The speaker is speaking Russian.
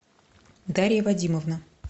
дарья вадимовна